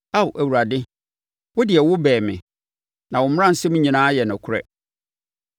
Ao Awurade, wo deɛ, wobɛn me, na wo mmaransɛm nyinaa yɛ nokorɛ.